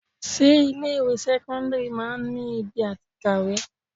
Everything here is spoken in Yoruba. Ṣé ilé ìwé sẹ́kọ́ńdírì máa ń ki ibi àti kàwé?